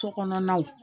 Sokɔnɔnaw